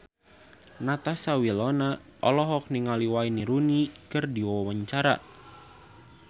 Natasha Wilona olohok ningali Wayne Rooney keur diwawancara